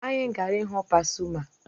Anyị gara ịhụ Pasuma